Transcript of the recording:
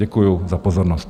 Děkuji za pozornost.